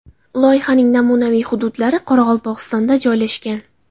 Loyihaning namunaviy hududlari Qoraqalpog‘istonda joylashgan.